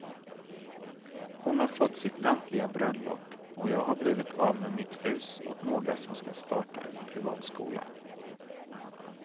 Hon har fått sitt lantliga bröllop, och jag har blivit av med mitt hus åt några som ska starta en privatskola.